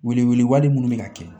Wele wele wale minnu bɛ ka kɛ